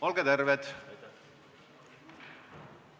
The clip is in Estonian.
Olge terved!